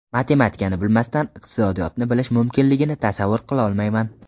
Matematikani bilmasdan iqtisodiyotni bilish mumkinligini tasavvur qilolmayman.